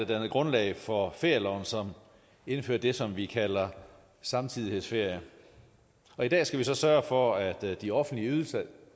dannede grundlag for ferieloven som indfører det som vi kalder samtidighedsferie i dag skal vi så sørge for at de offentlige ydelser